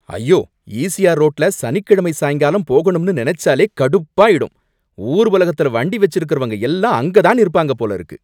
ஐயோ! ஈசிஆர் ரோட்டுல சனிக்கிழமை சாயங்காலம் போகணும்னு நெனச்சாலே கடுப்பாயிடும். ஊர் உலகத்துல வண்டி வச்சிருக்கிறவங்க எல்லாம் அங்க தான் இருப்பாங்க போல இருக்கு.